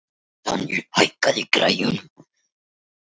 Deníel, hækkaðu í græjunum.